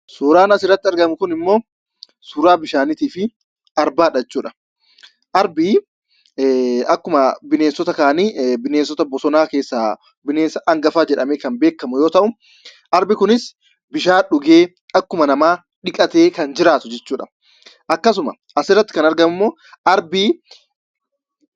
Suuraan asirratti argamu kunimmo, suuraa bishaanii fi Arbaadha jechuudha. Arbi akkuma bineensota kaanii, bineensota bosona keessa bineensa hangafa jedhamee kan beekamu yoo ta'u, arbi kunis bishaan dhugee akkuma namaa dhiqatee kan jiraatu jechuudha. Akkasuma asirratti kan argamu immoo, arbi..